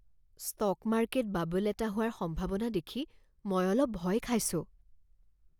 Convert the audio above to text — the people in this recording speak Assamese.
ষ্টক মাৰ্কেট বাবল এটা হোৱাৰ সম্ভাৱনা দেখি মই অলপ ভয় খাইছোঁ।